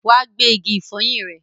Wa gba igi ìfọyín ẹ!